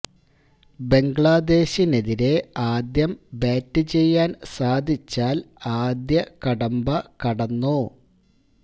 ബംഗ്ലാദേശിനെതിരേ ആദ്യം ബാറ്റ് ചെയ്യാൻ സാധിച്ചാൽ ആദ്യ കടമ്പ കടന്നു